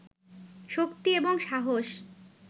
শক্তি এবং সাহস